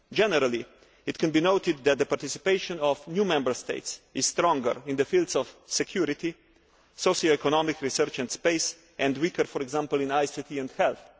Generally it can be noted that the participation of new Member States is stronger in the fields of security, socioeconomic research and space, and weaker, for example, in ICT and health.